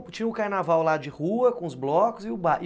Então tinha o carnaval lá de rua, com os blocos e os bailes?